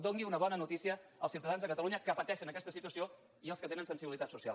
doni una bona notícia als ciutadans de catalunya que pateixen aquesta situació i als que tenen sensibilitat social